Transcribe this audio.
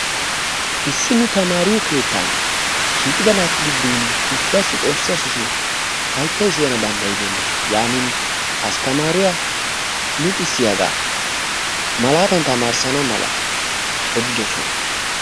Issi nu tamariyo keettan shiiqqida naatu giddon issuwassi xoossi ashsho shin haayttay siyanawu danddayibena. Yanin asttaamariya luxissiyaga malaatan tamarissana mala odiddosona.